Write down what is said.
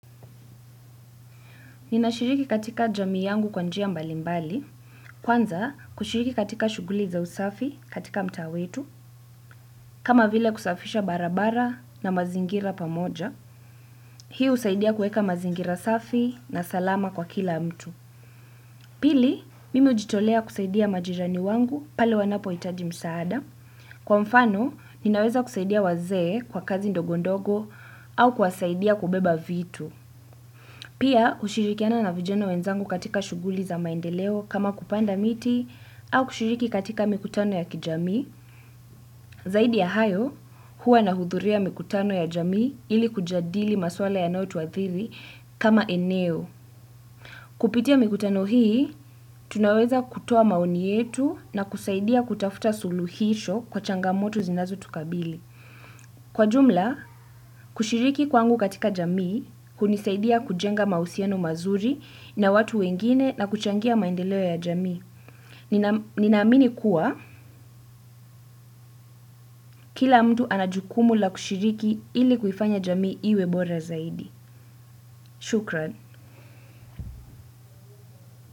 Ninashiriki katika jamii yangu kwa njia mbalimbali, kwanza kushiriki katika shuguli za usafi katika mtaa wetu, kama vile kusafisha barabara na mazingira pamoja, hi husaidia kueka mazingira safi na salama kwa kila mtu. Pili, mimi hujitolea kusaidia majirani wangu pale wanapo hitaji msaada, kwa mfano ninaweza kusaidia wazee kwa kazi ndogondogo au kuwasaidia kubeba vitu. Pia, kushirikiana na vijenw wenzangu katika shuguli za maendeleo kama kupanda miti au kushiriki katika mikutano ya kijamii, zaidi ya hayo huwa na hudhuria mikutano ya jami ili kujadili maswala yanayo tuathiri kama eneo. Kupitia mikutano hii, tunaweza kutoa maoni yetu na kusaidia kutafuta suluhisho kwa changamoto zinazo tukabili. Kwa jumla, kushiriki kwangu katika jamii, hunisaidia kujenga mahusiano mazuri na watu wengine na kuchangia maendeleo ya jamii. Ninaamini kuwa, kila mtu anajukumu la kushiriki ili kufanya jamii iwebora zaidi. Shukran.